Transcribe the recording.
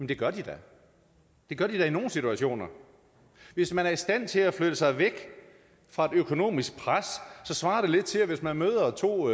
det gør de da det gør de da i nogle situationer hvis man er i stand til at flytte sig væk fra et økonomisk pres så svarer det lidt til at hvis man møder to